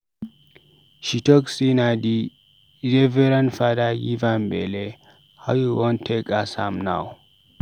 She talk sey na di Reverend Fada give am belle, how we wan take ask am now.